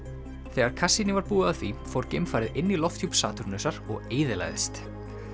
þegar Cassini var búið að því fór geimfarið inn í lofthjúp Satúrnusar og eyðilagðist